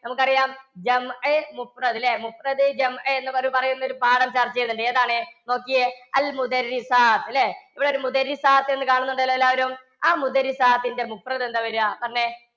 നമുക്കറിയാം ല്ലേ? എന്നു പറയുന്നൊരു പാഠം ചര്‍ച്ച ചെയ്യുന്നുണ്ട്. ഏതാണ്? നോക്കിയേ അല്ലേ? ഇവിടൊരു എന്ന് കാണുന്നുണ്ടല്ലോ എല്ലാരും. ആ ന്റെ എന്താ വരാ? പറഞ്ഞെ.